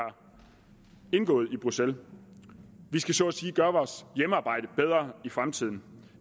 indgået i bruxelles vi skal så at sige gøre vores hjemmearbejde bedre i fremtiden